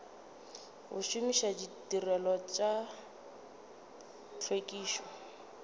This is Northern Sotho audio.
go šomiša ditirelo tša tlhwekišo